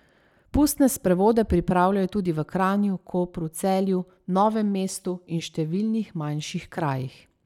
Pustne sprevode pripravljajo tudi v Kranju, Kopru, Celju, Novem mestu in številnih manjših krajih.